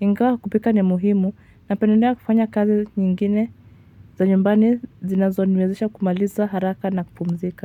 Ingawa kupika ni muhimu, napenedea kufanya kazi nyingine za nyumbani zinazoniwezesha kumaliza haraka na kupumzika.